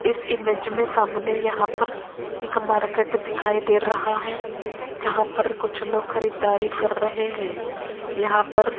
इस इमेज में सामने यहां पर एक मार्केट दिखाई दे रहा है जहां पर कुछ लोग खरीदारी कर रहे हैं यहां पर --